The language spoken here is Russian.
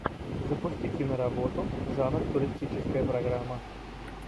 запусти киноработу жанр туристическая программа